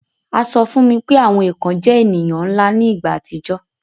A sọ fún mi pé àwọn èkàn jẹ èniyàn nla ni ìgbà àtijọ́